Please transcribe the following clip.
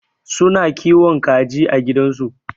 Su na kiwon kaji a gidan su.